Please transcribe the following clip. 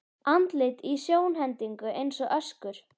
Andlit í sjónhendingu eins og öskur.